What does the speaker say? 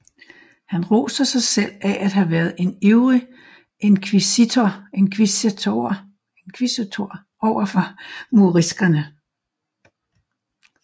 Han roser sig selv af at have været en ivrig inkvisitor over for moriskerne